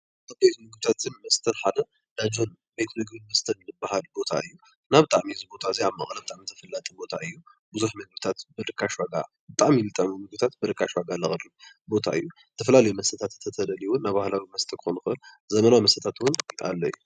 ካብ ቤት ምግብታትን መስተን ሓደ እንዳ ጆን እንዳ ቤት ምግብን መስተን ዝበሃል ቦታ እዩ። እና እዚ ቦታ እዚ ኣብ መቐለ ብጣዕሚ ተፈላጢ ቦታ እዩ። ብዙሕ ምግብታት ብርካሽ ዋጋ ብጣዕሚ ዝጥዕም ምግብታት ብርካሽ ዋጋ ዘቕርብ ቦታ እዩ። ዝተፈላለዩ መስተታት እንተተደልዩ እውን ናባህላዊ መስተ ክኾን ይኽእል ዘበናዊ መስተታት እውን ኣሎ እዩ።